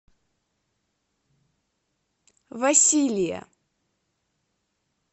василия